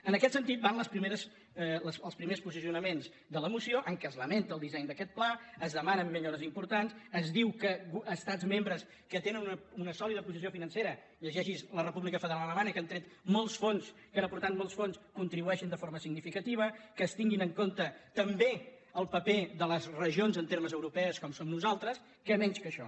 en aquest sentit van els primers posicionaments de la moció en què es lamenta el disseny d’aquest pla es demanen millores importants es diu que estats membres que tenen una sòlida posició financera llegeixi’s la república federal d’alemanya que han tret molts fons que han aportat molts fons contribueixin de forma significativa que es tingui en compte també el paper de les regions en termes europeus com som nosaltres què menys que això